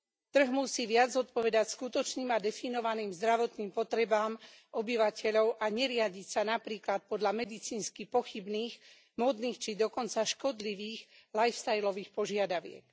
Trh musí viac odpovedať skutočným a definovaným zdravotným potrebám obyvateľov a neriadiť sa napríklad podľa medicínsky pochybných, módnych či dokonca škodlivých life stylových požiadaviek.